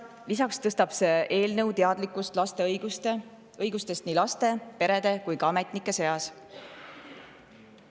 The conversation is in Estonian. Lisaks tõstab eelnõu teadlikkust laste õigustest nii laste, perede kui ka ametnike seas.